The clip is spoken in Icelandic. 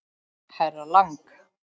Herra Lang.